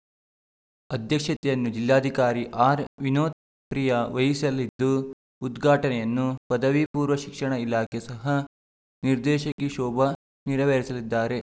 ಅಧ್ಯಕ್ಷತೆಯನ್ನು ಜಿಲ್ಲಾಧಿಕಾರಿ ಆರ್‌ ವಿನೋತ್‌ಪ್ರಿಯಾ ವಹಿಸಲಿದ್ದು ಉದ್ಘಾಟನೆಯನ್ನು ಪದವಿ ಪೂರ್ವ ಶಿಕ್ಷಣ ಇಲಾಖೆ ಸಹ ನಿರ್ದೇಶಕಿ ಶೋಭಾ ನೆರವೇರಿಸಲಿದ್ದಾರೆ